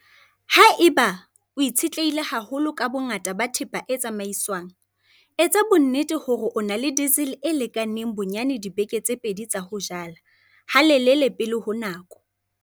Ha eba o itshetlehile haholo ka bongata ba thepa e tsamaiswang, etsa bonnete hore o na le diesel e lekaneng bonyane dibeke tse pedi tsa ho jala - halelele pele ho nako.